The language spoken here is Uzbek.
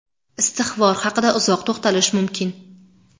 Istig‘for haqida uzoq to‘xtalish mumkin.